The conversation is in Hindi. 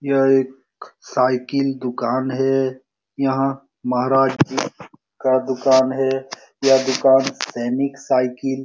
यह एक साइकिल दूकान है। यहाँ महाराज जी का दूकान है। यह दूकान सैनिक साइकिल --